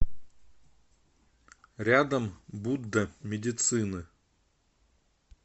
рядом будда медицины